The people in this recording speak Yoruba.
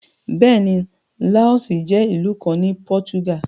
Bẹ́ẹ̀ ni, láọ́sì jẹ́ ìlú kan ní pọ́túgà.